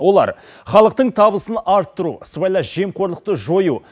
олар халықтың табысын арттыру сыбайлас жемқорлықты жою